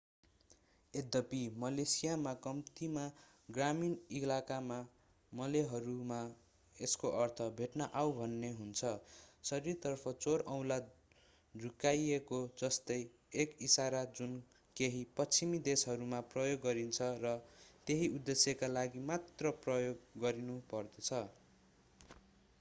यद्यपि मलेसियामा कम्तिमा ग्रामीण इलाकामा मलेहरूमा यसको अर्थ भेट्न आउ भन्ने हुन्छ शरीरतर्फ चोर औँला झुकाइएको जस्तै एक इशारा जुन केही पश्चिमी देशहरूमा प्रयोग गरिन्छ र त्यही उद्देश्यका लागि मात्र प्रयोग गरिनुपर्दछ